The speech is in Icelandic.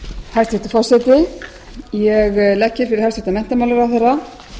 hæstvirtur forseti ég legg fyrir hæstvirtan menntamálaráðherra